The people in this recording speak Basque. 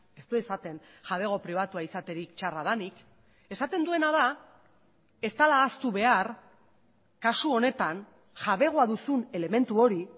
ez du esaten jabego pribatua izaterik txarra denik esaten duena da ez dela ahaztu behar kasu honetan jabegoa duzun elementu hori